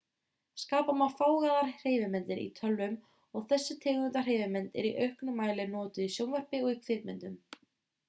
skapa má fágaðar hreyfimyndir í tölvum og þessi tegund af hreyfimynd er í auknum mæli notuð í sjónvarpi og kvikmyndum